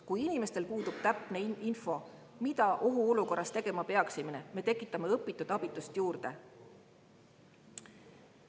Kui inimestel puudub täpne info, mida ohuolukorras tegema peaks, siis me tekitame õpitud abitust juurde.